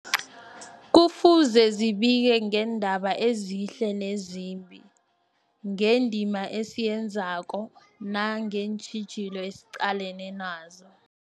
Kufuze zibike ngeendaba ezihle nezimbi, ngendima esiyenzako nangeentjhijilo esiqalene nazo.